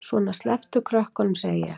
Svona, slepptu krökkunum, segi ég!